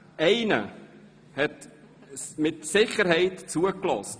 Einer hat mit Sicherheit zugehört;